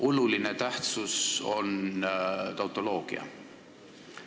"Oluline tähtsus" on tautoloogia.